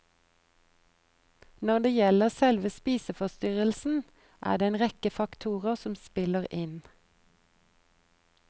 Når det gjelder selve spiseforstyrrelsen, er det en rekke faktorer som spiller inn.